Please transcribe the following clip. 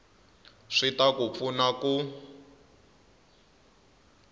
swi ta ku pfuna ku